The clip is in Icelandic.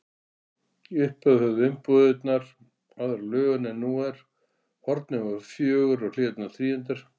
Í upphafi höfðu umbúðirnar aðra lögun en nú er: hornin voru fjögur og hliðarnar þríhyrndar.